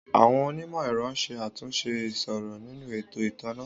Àwọn onímò ẹ̀rọ ń ṣe àtúnṣe ìṣòro nínú ètò ìtanná